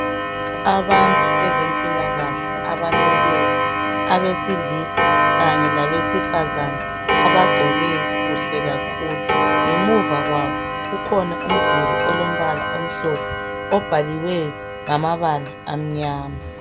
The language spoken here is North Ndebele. Abantu bezempilakahle abamileyo abesilisa kanye labesefazana abagqoke kuhle kakhulu ngemuva kwabo ukhona umduli omhlophe obhaliweyo ngamabala amnyama